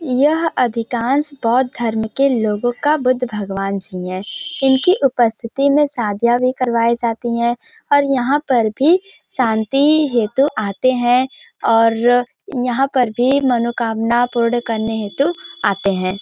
यह अधिकांश बौद्ध धर्म के लोगों का बुद्ध भगवान जी है इनकी उपस्थिति में शादियाँ भी करवाई जाती हैं और यहाँ पर भी शांति हेतु आते हैं और यहाँ पर भी मनोकामना पूर्ण करने हेतु आते हैं ।